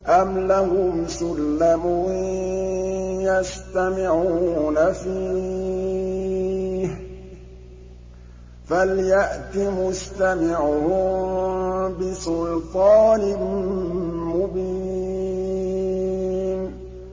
أَمْ لَهُمْ سُلَّمٌ يَسْتَمِعُونَ فِيهِ ۖ فَلْيَأْتِ مُسْتَمِعُهُم بِسُلْطَانٍ مُّبِينٍ